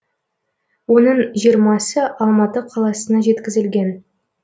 оның жиырмасы алматы қаласына жеткізілген